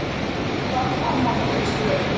En hvað vill Almar gera í stöðunni?